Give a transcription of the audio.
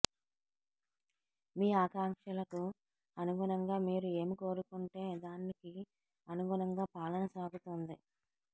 మీ ఆకాంక్షలకు అనుగుణంగా మీరు ఏమి కోరుకుంటే దానికి అనుగుణంగా పాలన సాగుతోంది